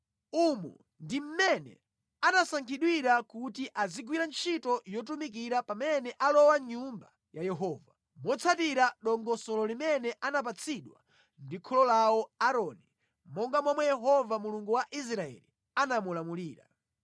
Umu ndi mmene anasankhidwira kuti azigwira ntchito yotumikira pamene alowa mʼNyumba ya Yehova, motsatira dongosolo limene anapatsidwa ndi kholo lawo Aaroni, monga momwe Yehova Mulungu wa Israeli anamulamulira.